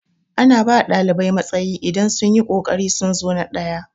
Ana bawa ɗalibai matsayi idan sunyi kokarin sun zo na ɗaya